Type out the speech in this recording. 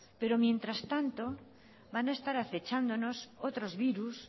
pero mientras tanto van a estar acechándonos otros virus